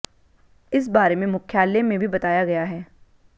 इस बारे में मुख्यालय में भी बताया गया है